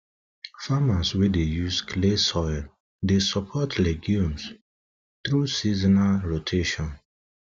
farmers wey dey use clay soils dey support legumes through support legumes through seasonal rotation